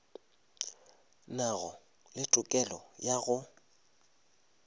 nago le tokelo ya go